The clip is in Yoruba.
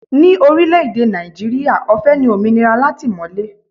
Ni orílẹ̀ èdè Nàìjíríà, ọ̀fẹ́ ni òmìnira látìmọ̀lé